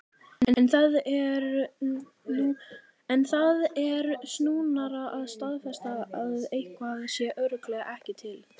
En það er snúnara að staðfesta að eitthvað sé örugglega ekki til.